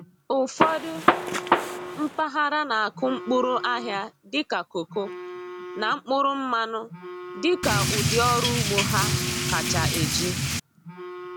Ụfọdụ mpaghara na-akụ mkpụrụ ahịa dịka koko na mkpụrụ mmanụ dị ka ụdị ọrụ ugbo ha kacha eji.